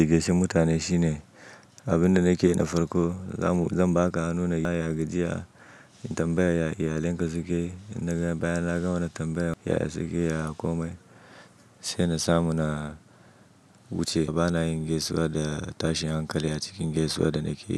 Edikashin mutane shine abin da nake yi na farko. Zan ba ka hannu na yayagajiya, tambaya iyalinka suke, bayan na gama wani tambaya ya sake ya komai, saina samu na wuce. Bana yin gaisuwa da tashin hankali a cikin gaisuwa da nake yi.